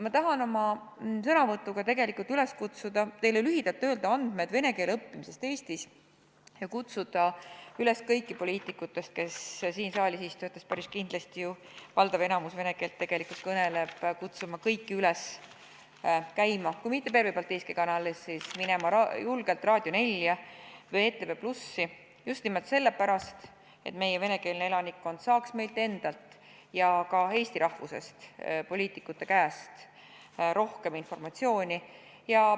Ma tahan oma sõnavõtuga teile lühidalt öelda andmeid vene keele õppimise kohta Eestis ja kutsuda üles kõiki poliitikuid siin saalis, kellest valdav osa päris kindlasti vene keelt kõneleb, kui mitte käima Pervõi Baltiiski Kanalis, siis minema julgelt Raadio 4 või ETV+-i, just nimelt sellepärast, et meie venekeelne elanikkond saaks meilt endalt ja ka Eesti rahvusest poliitikute käest rohkem informatsiooni.